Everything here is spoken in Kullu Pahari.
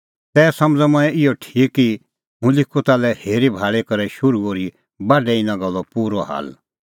तै समझ़अ मंऐं इहअ ठीक कि हुंह लिखूं ताल्है हेरीभाल़ी करै शुरू ओर्ही बाढै इना गल्लो पूरअ हाल